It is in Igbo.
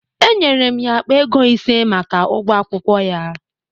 Enyere m ya akpa ego ise maka ụgwọ akwụkwọ ya